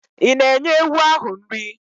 Ị̀ na-enye ewu ahụ nri?